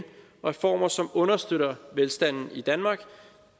reformer som understøtter velstanden i danmark